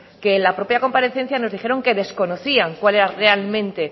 que en la propia comparecencia nos dijeron que desconocían cuál era realmente